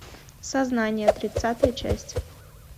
сознание тридцатая часть